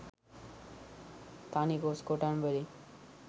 තනි කොස් කොටන් වලින්.